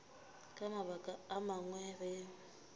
ka mabaka a mangwe ge